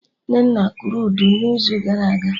Nnenna kụrụ Udu n'izu gara aga